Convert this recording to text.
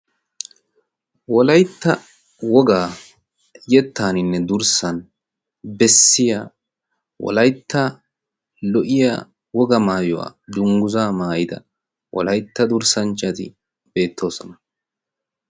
wolaitta wogaa yettaaninne durssan bessiya wolaitta lo7iya woga maayuwaa dungguzaa maayida walaitta durssancchati beettoosona